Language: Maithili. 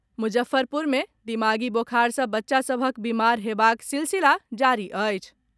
मुजफ्फरपुर मे दिमागी बोखार सॅ बच्चा सभक बीमार हेबाक सिलसिला जारी अछि।